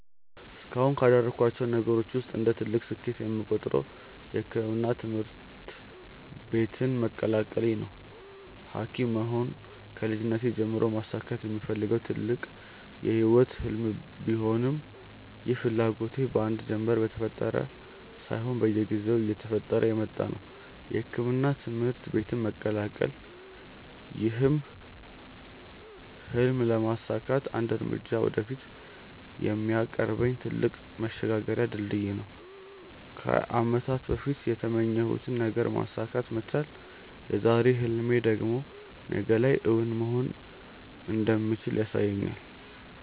እስካሁንም ካደረኳቸው ነገሮች ውስጥ እንደ ትልቅ ስኬት የምቆጥረው የሕክምና ትምህርት ቤትን መቀላቀሌ ነው። ሀኪም መሆን ከልጅነቴ ጀምሮ ማሳካት የምፈልገው ትልቅ የህይወቴ ህልም ቢሆንም ይህ ፍላጎቴ በአንድ ጀንበር የተፈጠረ ሳይሆን በየጊዜው እየጠነከረ የመጣ ነው። የሕክምና ትምህርት ቤትን መቀላቀል ይህን ህልም ለማሳካት አንድ እርምጃ ወደፊት የሚያቀርበኝ ትልቅ መሸጋገሪያ ድልድይ ነው። ከአመታት በፊት የተመኘሁትን ነገር ማሳካት መቻል የዛሬ ህልሜ ደግሞ ነገ ላይ እውን መሆን እንደሚችል ያሳየኛል።